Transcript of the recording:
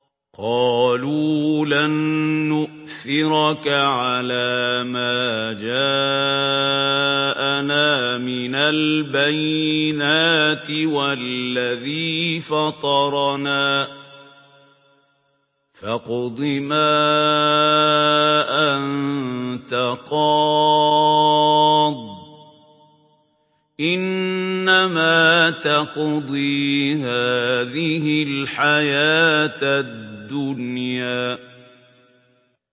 قَالُوا لَن نُّؤْثِرَكَ عَلَىٰ مَا جَاءَنَا مِنَ الْبَيِّنَاتِ وَالَّذِي فَطَرَنَا ۖ فَاقْضِ مَا أَنتَ قَاضٍ ۖ إِنَّمَا تَقْضِي هَٰذِهِ الْحَيَاةَ الدُّنْيَا